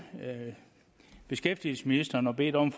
beskæftigelsesministeren og bedt om